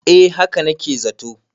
eh haka na ke zato